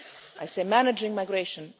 I say managing migration'.